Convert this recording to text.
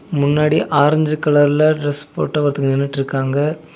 முன்னாடி ஆரஞ்சு கலர்ல டிரஸ் போட்ட ஒருத்தங்க நின்னுட்டுருக்காங்க.